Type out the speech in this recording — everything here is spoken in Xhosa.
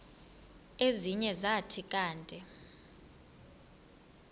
ezinye zathi kanti